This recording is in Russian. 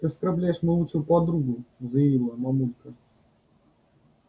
ты оскорбляешь мою лучшую подругу заявила мамулька